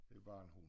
Det bare en hund